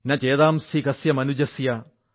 ന ചേതാംസി കസ്യ മനുജസ്യ